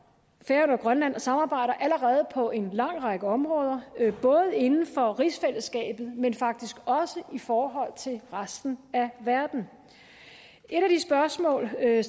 færøerne og grønland samarbejder allerede på en lang række områder det er både inden for rigsfællesskabet men faktisk også i forhold til resten af verden et af de spørgsmål der er